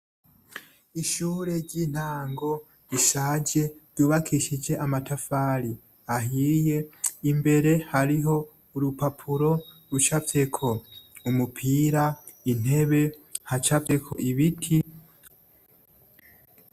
Ishure ry'intango rishaje, ryubakishijwe amatafari ahiye, imbere hariho urupapuro rucafyeko umupira, intebe, hacafyeko ibiti.